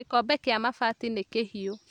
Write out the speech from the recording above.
Gĩkombe kĩa mabati nĩ kĩhiũ